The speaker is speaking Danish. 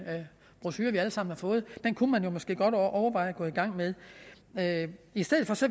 brochure vi alle sammen har fået den kunne man jo måske godt overveje at gå i gang med med i stedet